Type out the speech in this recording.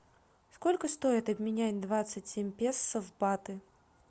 сколько стоит обменять двадцать семь песо в баты